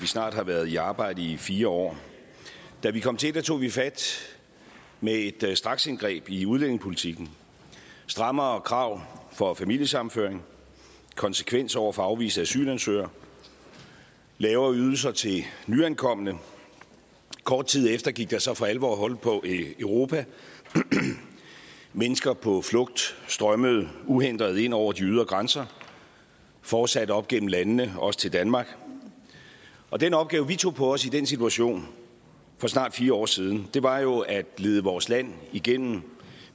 vi snart har været i arbejde i fire år da vi kom til tog vi fat med et straksindgreb i udlændingepolitikken strammere krav for familiesammenføring konsekvens over for afviste asylansøgere lavere ydelser til nyankomne kort tid efter gik der så for alvor hul på europa mennesker på flugt strømmede uhindret ind over de ydre grænser fortsatte op gennem landene også til danmark og den opgave vi tog på os i den situation for snart fire år siden var jo at lede vores land igennem